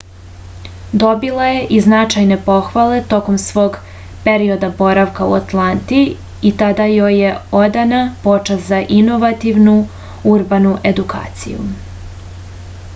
dobila je i značajne pohvale tokom svog perioda boravka u atlanti i tada joj je odana počast za inovativnu urbanu edukaciju